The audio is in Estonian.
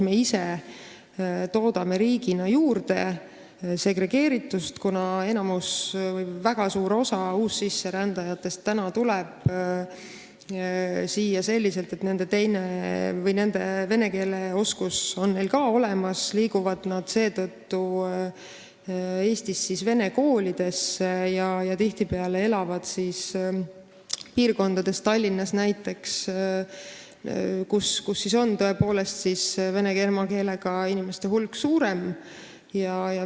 Me ise toodame riigina juurde segregeeritust, kuna väga suurel osal siia täna saabunud uussisserändajatel on vene keele oskus olemas, seetõttu lähevad nende lapsed vene kooli ja tihtipeale nad elavad sellistes piirkondades, Tallinnas näiteks, kus vene emakeelega inimeste hulk on suurem.